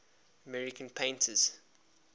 american painters